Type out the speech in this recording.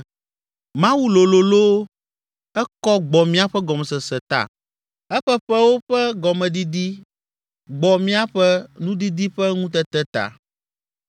Mawu lolo loo, ekɔ gbɔ míaƒe gɔmesese ta! Eƒe ƒewo ƒe gɔmedidi gbɔ míaƒe nudidi ƒe ŋutete ta.